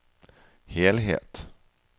helhet